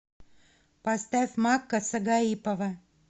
поставь макка сагаипова